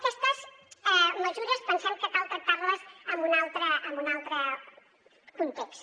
aquestes mesures pensem que cal tractar les en un altre context